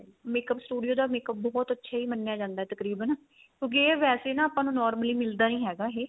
makeup studio ਦਾ makeup ਬਹੁਤ ਅੱਛਾ ਮੰਨਿਆ ਜਾਂਦਾ ਤਕਰੀਬਨ ਕਿਉਂਕਿ ਵੈਸੇ ਨਾ ਆਪਾਂ ਨੂੰ normally ਮਿਲਦਾ ਨੀ ਹੈਗਾ ਇਹ